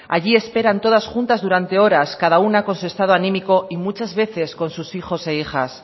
allí esperan todas juntas durante horas cada una con su estado anímico y muchas veces con sus hijos e hijas